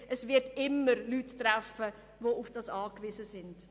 Es wird immer Leute treffen, die auf das Geld angewiesen sind.